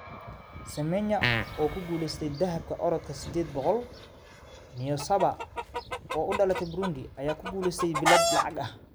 Semenya oo ku guulaysatay dahabka orodka sideed boqool, Niyonsaba oo u dhalatay Burundi ayaa ku guulaysatay bilad lacag ah